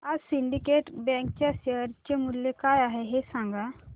आज Syndicate Bank च्या share चे मूल्य काय आहे हे सांगा